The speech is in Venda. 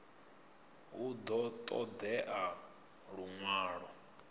hu ḓo ṱo ḓea luṅwalo